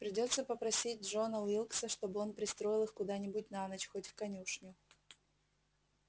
придётся попросить джона уилкса чтобы он пристроил их куда-нибудь на ночь хоть в конюшню